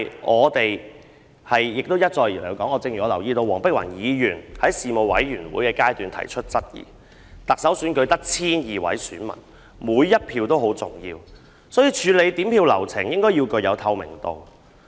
我們一再提出——正如我留意到黃碧雲議員在事務委員會提出質疑，特首選舉只有 1,200 名選民，每一票也十分重要，所以處理點票流程應該具透明度。